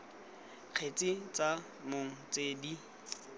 kgetse tsa mong tse di